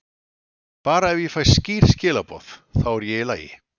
Bara ef ég fæ skýr skilaboð, þá er ég í lagi.